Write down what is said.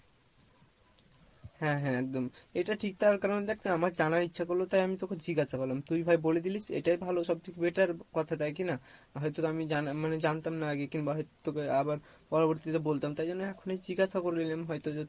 হ্যাঁ হ্যাঁ একদম এটা ঠিক তার কারন দেখ আমার জানার ইচ্ছা করলো তাই আমি তোকে জিজ্ঞাসা করলাম তুই ভাই বলে দিলি এটাই ভালো সবথেকে better কথা তাই কি না? হয়তো আমি জানা মানে জানতাম না আগে কিংবা হয়তো তোকে আবার পরবর্তী তে বলতাম তাই জন্য এখনই জিজ্ঞাসা করে নিলাম হয়তো যে